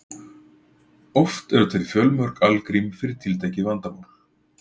oft eru til fjölmörg algrím fyrir tiltekið vandamál